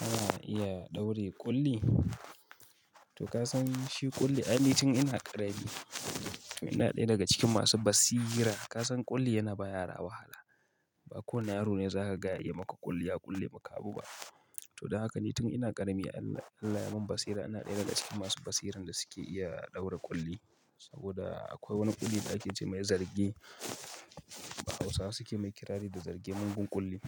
Ana iya ɗaure ƙulli. To kasan shi ƙulli, ai tun ina ƙarami, ina ɗaya daga cikin masu basira. Kasan kulli yana ba yara wahala ba kowane yaro ne za kaga ya iya maka ƙulli ya ƙulle maka abu ba. To dan haka, ni tun ina ƙarami Allah ya mun basira. Ina ɗaya daga cikin masu basiran da suke iya ɗaura ƙulli. Saboda akwai wani ƙulli da ake cemai zarge. Hausawa suke mai kirari da zarge mugun ƙulli.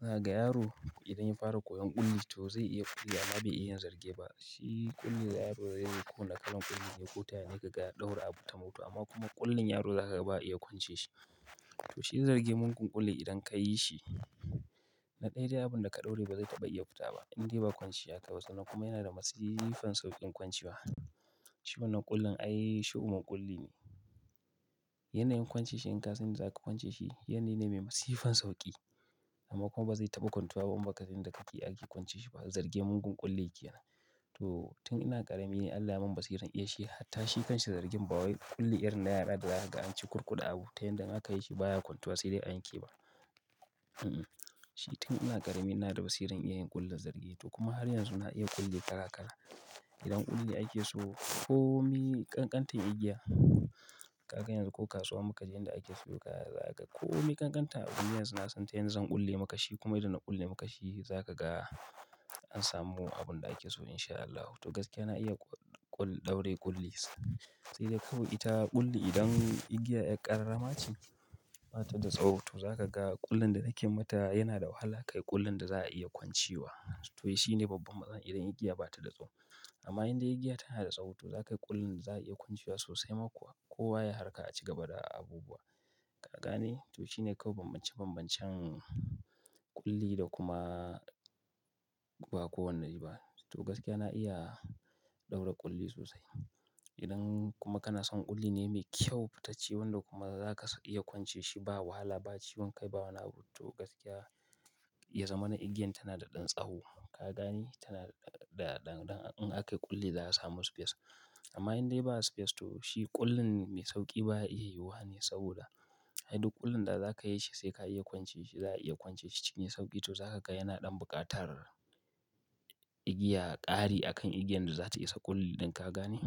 Na ga yaro idan ya fara koyon ƙulli to zai iya ƙulli amma bai iya yin zarge ba. Shi ƙulli yaro zai yi ko da kalan ƙullin ya yi ko tayani ka gaya ɗaura abu ta mutu amma kuma ƙullin yaro za ka ga ba a iya kwance shi. To shi zarge mugun ƙulli idan ka yi shi, na ɗaya dai abun da ka ɗaure ba zai iya fita ba in dai ba kwancewa akayi ba. Kuma yana da masifan sauƙin kwancewa. Shi wannan ƙullin ai shu'umin ƙulli ne. Yanayin kwance shi in ka san zaka kwance shi, yanayi ne mai masifan sauƙi. Amma kuma ba zai taba kwantuwa ba in ba ka san yanda ake kwance shi ba. Zarge mugun ƙulli kenan to tun ina ƙarami ni Allah ya mun basiran iya shi. Hatta shi kanshi zargen ba wai ƙulli irin na yara da za haga an cukurkude abu. Ta yanda in aka yi shi baya kwantuwa sai dai a yanke ba. Shi tun ina ƙarami ina da basiran iya yin ƙullin zarge. To kuma har yanzu na iya ƙulli kara kara. Idan ƙulli ake so komi kankantan igiya, kaga yanzu ko kasuwa muka je inda ake siyo kaya za kaga komi kankantan abu ni yanzu nasan tayanda zan ƙulle maka shi kuma idan na ƙulle maka shi za kaga an samu abun da ake so insha Allahu to gaskiya na iya ƙul- ƙul- ɗaure ƙulli. Sai dai kawai ita ƙulli idan igiyar yar ƙararrama ce, bata da tsawo to za ka ga ƙullin da nake mata yana da wahala kai ƙullin da za a iya kwancewa. To shine babban matsala idan igiya ba ta da tsawo. Amma idan igiya tana da tsawo to za kayi ƙullin da za a iya kwancewa sosai ma kuwa. Kowa yai harka a cigaba da abubuwa. Ka gane? To shi ne kawai bambance- bambancen ƙulli da kuma ba kowane yi ba. To gaskiya na iya ɗaura ƙulli sosai. Idan kuma kana son ƙulli ne mai kyau fitacce wanda kuma za ka iya kwance shi ba wahala ba, ciwon kai, ba wani abu. To gaskiya, ya zamana igiyan tana da ɗan tsawo. Ka gane? Tana da ɗan, ɗan, in aka yi ƙulli za a samu space. Amma indai ba space to shi ƙullin mai sauƙi ba ya iya yiwuwa ne saboda, ai duk ƙullin da za ka yi shi sai ka iya kwance shi. Za a iya kwance shi shine sauƙi to za ka ga yana ɗan buƙatar igiya ƙari a kan igiyan da za ta isa ƙulli ɗin ka gane.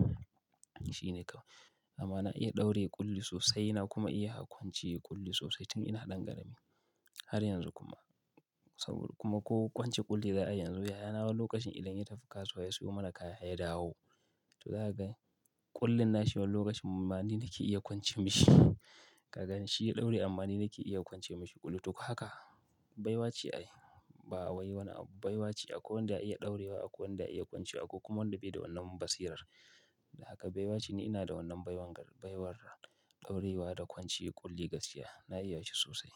Shi ne kawai. Amma na iya ɗaure ƙulli sosai na kuma iya kwance ƙulli sosai tun ina ɗan ƙarami. Har yanzu kuma. Saboda kuma ko kwance ƙulli za a yi yanzu, yayana wani lokacin idan ya tafi kasuwa ya sayo mana kaya ya dawo. To zaha ga ƙullin nashi wani lokacin ma ni nike iya kwance mishi. Ka gane? Shi ya ɗaure amma ni nike iya kwance mishi ƙullin to haka baiwa ce ai. Ba wai wani abu. Baiwa ce. Akwai wanda ya iya ɗaurewa, akwai wanda ya iya kwance, akwai kuma wanda bai da wannan basirar. Haka baiwa ce ni ina da wannan baiwar, baiwar ɗaurewa da kwance ƙulli. Gaskiya na iya shi sosai.